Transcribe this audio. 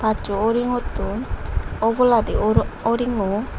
acho uringo tun obolandi uringo.